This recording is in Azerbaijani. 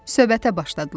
Söhbətə başladılar.